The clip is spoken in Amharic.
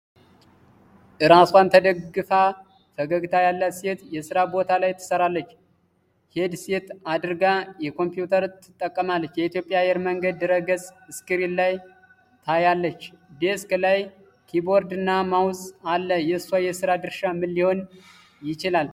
እራሷን ተደግፋ ፈገግታ ያላት ሴት የስራ ቦታ ላይ ትሰራለች። ሄድሴት አድርጋ ኮምፒውተር ትጠቀማለች። የኢትዮጵያ አየር መንገድ ድረ-ገጽ ስክሪን ላይ ታያለች። ዴስክ ላይ ኪቦርድና ማውዝ አለ። የእሷ የስራ ድርሻ ምን ሊሆን ይችላል?